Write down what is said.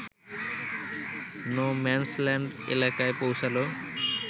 no man's land এলাকায় পৌছাল